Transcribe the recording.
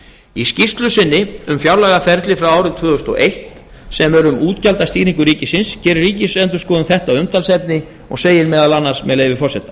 í skýrslu sinni um fjárlagaferli frá árinu tvö þúsund og eitt sem er um útgjaldastýringu ríkisins gerir ríkisendurskoðun þetta að umtalsefni og segir meðal annars með leyfi forseta